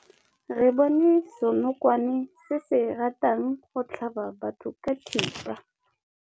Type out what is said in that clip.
Re bone senokwane se se ratang go tlhaba batho ka thipa.